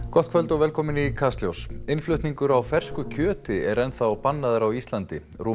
gott kvöld og velkomin í Kastljós innflutningur á fersku kjöti er enn þá bannaður á Íslandi rúmu